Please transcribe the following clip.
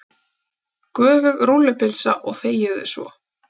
Göfug rúllupylsa og þegiðu svo.